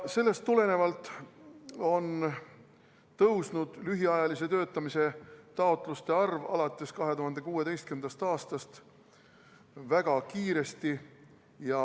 Sellest tulenevalt on lühiajalise töötamise taotluste arv alates 2016. aastast väga kiiresti tõusnud.